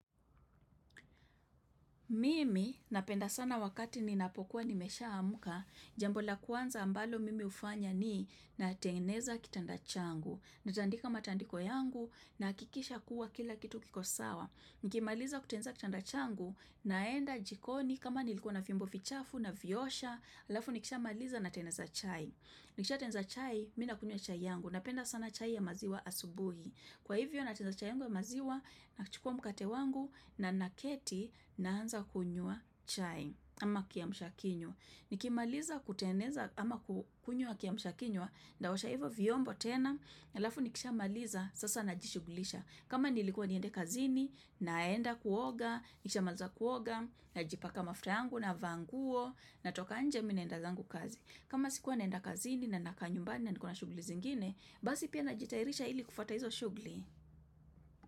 Mimi napenda sana wakati ninapokuwa nimeshamka, jambo la kwanza ambalo mimi hufanya ni natengeneza kitanda changu. Natandika matandiko yangu nahakikisha kuwa kila kitu kiko sawa. Nikimaliza kutengeneza kitanda changu naenda jikoni kama nilikuwa na vyombo vichafu naviosha, alafu nikishamaliza nateneza chai. Nikishatenza chai, mi nakunywa chai yangu. Napenda sana chai ya maziwa asubuhi. Kwa hivyo nateneza chai yangu ya maziwa nakichukua mkate wangu na naketi naanza kunywa chai ama kiamshakinywa. Nikimaliza kuteneza ama kukunywa kiamshakinywa nitaosha hivyo vyombo tena alafu nikishamaliza sasa najishugulisha. Kama nilikua niende kazini naenda kuoga, nikishamaliza kuoga najipaka mafuta yangu navaa nguo natoka nje mi naenda zangu kazi. Kama sikuwa naenda kazini na nakaa nyumbani na nikona shuguli zingine, basi pia najitairisha ili kufuata hizo shugli.